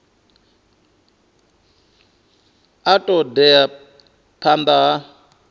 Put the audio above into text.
a ṱo ḓea phanḓa ha